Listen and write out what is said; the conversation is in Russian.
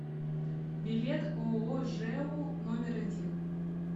билет ооо жэу номер один